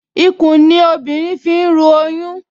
Ikùn ni obìnrin fi ń ru oyún